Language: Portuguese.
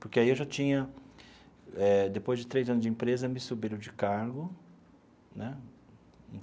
Porque aí eu já tinha eh, depois de três anos de empresa, me subiram de cargo né.